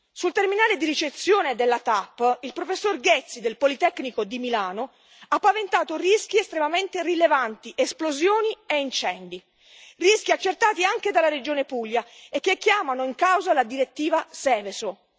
Sul terminale di ricezione della TAP, il professor Ghezzi del Politecnico di Milano ha paventato rischi estremamente rilevanti, esplosioni e incendi, rischi accertati anche dalla Regione Puglia e che chiamano in causa la direttiva Seveso.